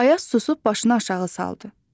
Ayaz susub başını aşağı saldı.